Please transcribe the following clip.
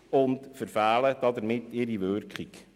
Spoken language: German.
Damit verfehlen sie ihre Wirkung.